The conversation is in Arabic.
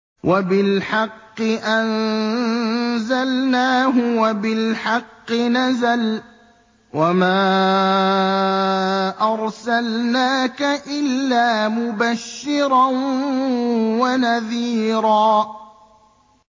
وَبِالْحَقِّ أَنزَلْنَاهُ وَبِالْحَقِّ نَزَلَ ۗ وَمَا أَرْسَلْنَاكَ إِلَّا مُبَشِّرًا وَنَذِيرًا